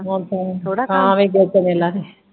ਥੋੜਾ ਕੰਮ